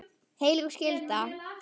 Heilög skylda.